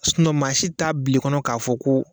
Sunɔ maa si t'a bila kɔnɔ k'a fɔ ko.